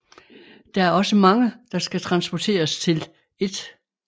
Der er også mange der skal transporteres til 1